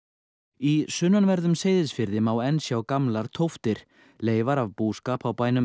í sunnanverðum Seyðisfirði má enn sjá gamlar tóftir leifar af búskap á bænum